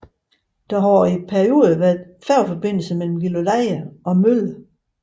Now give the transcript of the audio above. Der har i perioder været færgeforbindelse mellem Gilleleje og Mölle